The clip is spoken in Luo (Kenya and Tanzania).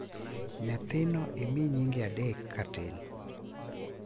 Nyathino imi nyinge adek katin.